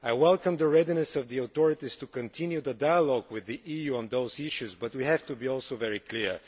I welcome the readiness of the authorities to continue the dialogue with the EU on these issues, but we also have to be very clear.